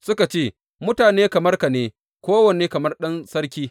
Suka ce, Mutane kamar ka ne kowane kamar ɗan sarki.